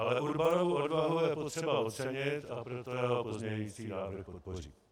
Ale Urbanovu odvahu je potřeba ocenit, a proto jeho pozměňující návrh podpořím.